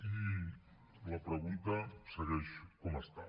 i la pregunta segueix com està